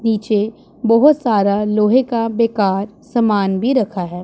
नीचे बहोत सारा लोहे का बेकार सामान भी रखा है।